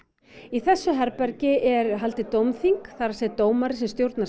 í þessu herbergi er haldið dómþing það er að segja dómari sem stjórnar